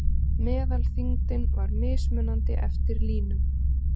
Meðalþyngdin var mismunandi eftir línum.